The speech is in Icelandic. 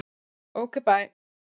Ok bæ.